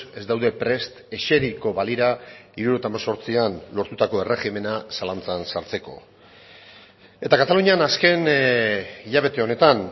ez daude prest eseriko balira hirurogeita hemezortzian lortutako erregimena zalantzan sartzeko eta katalunian azken hilabete honetan